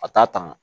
A t'a tanga